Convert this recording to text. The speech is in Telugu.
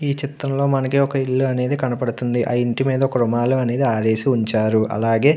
ఈ చిత్రం లో మనకి ఒక ఇల్లు అనేది కనిపిస్తుంది. ఆ ఇంటి మేధా ఒక రుమాల అనేది ఆరేసి ఉంచారు. అలాగే --